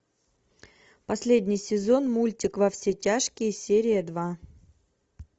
последний сезон мультик во все тяжкие серия два